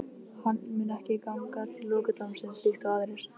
Hann mun ekki ganga til lokadómsins líkt og aðrir.